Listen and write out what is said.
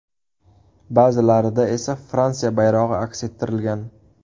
Ba’zilarida esa Fransiya bayrog‘i aks ettirilgan.